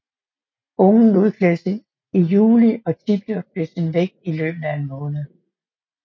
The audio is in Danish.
Ungen udklækkes i juli og tidobler sin vægt i løbet af en måned